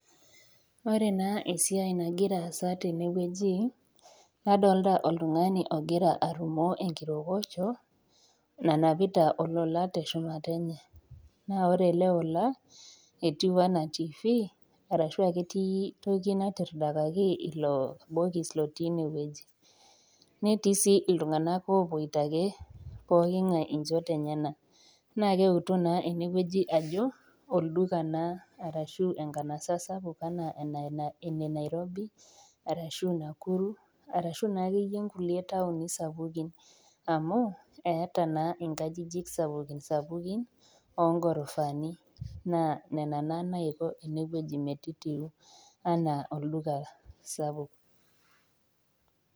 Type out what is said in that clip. Ore naa esiai nagira aasa tenewueji, nadolita oltung'ani ogira arumoo enkirokocho, naanapita olola te shumata enye, naa ore ele ola etiu anaa tiifi arashu etii toki natiridakaki ilo bokis lotii ine wueji, netii sii iltung'ana oopuoita ake pookingai inchot enyena, naa kenuta naa enewueji ajo, olduka naa arashu enkanasa sapuk anaa ene Nairobi, arashu Nakuru arashu naake iyie inkulie tauni sapukin, amu, eata naa inkajijik sapukin sapukin oo ngorofaani, naa nena naa naiko ene wueji metitiu anaa olduka sapuk .